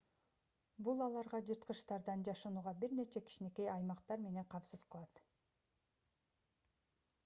бул аларга жырткычтардан жашынууга бир нече кичинекей аймактар менен камсыз кылат